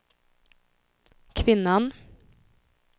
kvinnan